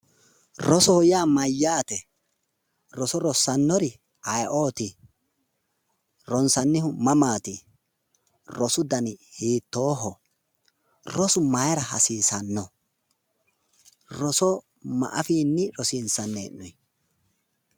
Rosoho yaa mayyaate? roso rossannori ayeeoti? ronsannihu mamaati? rosu dani hiittoho? Rosu mayra hasiissanno? Rosu ma afiinni rosiissanni hee'noonni?